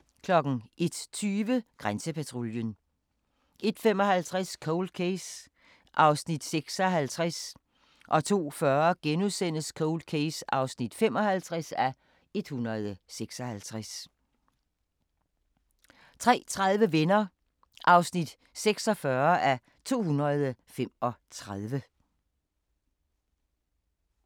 01:20: Grænsepatruljen 01:55: Cold Case (56:156) 02:40: Cold Case (55:156)* 03:30: Venner (46:235)